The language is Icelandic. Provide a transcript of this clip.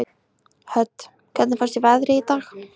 Hödd: Hvernig finnst þér veðrið í dag?